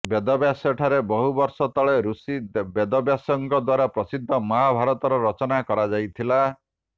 ବେଦବ୍ୟାସ ଠାରେ ବହୁ ବର୍ଷ ତଳେ ରୁଷି ବେଦବ୍ୟାସଙ୍କ ଦ୍ୱାରା ପ୍ରସିଦ୍ଧ ମହାଭାରତର ରଚନା କରାଯାଇଥିଲା